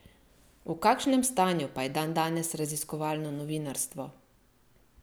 V kakšnem stanju pa je dandanes raziskovalno novinarstvo?